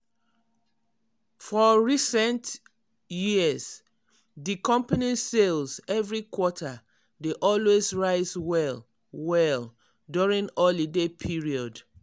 for recent years di company sales every quarter dey always rise well well during holiday period.